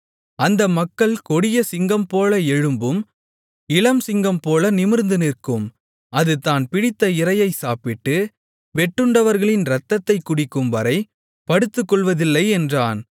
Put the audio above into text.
அந்த மக்கள் கொடிய சிங்கம்போல எழும்பும் இளம்சிங்கம்போல நிமிர்ந்து நிற்கும் அது தான் பிடித்த இரையைச் சாப்பிட்டு வெட்டுண்டவர்களின் இரத்தத்தைக் குடிக்கும்வரை படுத்துக்கொள்வதில்லை என்றான்